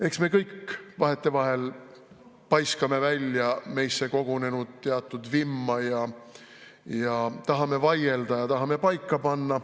Eks me kõik vahetevahel paiskame välja meisse kogunenud teatud vimma, tahame vaielda ja tahame paika panna.